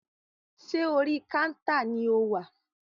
Ṣé orí kántà ni o wà?